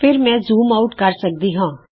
ਫਿਰ ਮੈਂ zoom out ਕਰ ਸਕਦੀ ਹਾਂ